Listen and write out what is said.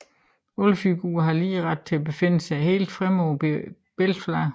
Alle figurer har lige ret og befinder sig helt fremme på billedfladen